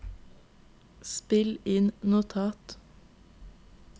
spill inn notat